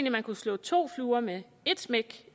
at man kunne slå to fluer med ét smæk